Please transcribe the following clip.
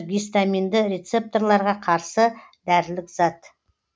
гистаминді рецепторларға қарсы дәрілік зат